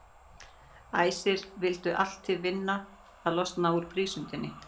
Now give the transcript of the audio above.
Æsir vildu allt til vinna að losna úr prísundinni.